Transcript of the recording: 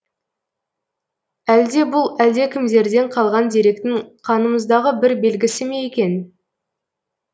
әлде бұл әлдекімдерден қалған деректің қанымыздағы бір белгісі ме екен